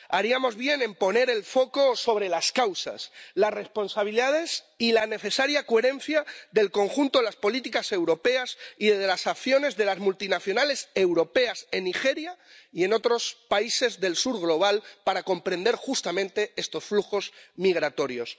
Haríamos bien en poner el foco sobre las causas, las responsabilidades y la necesaria coherencia del conjunto de las políticas europeas y de las acciones de las multinacionales europeas en Nigeria y en otros países del sur global para comprender, justamente, estos flujos migratorios.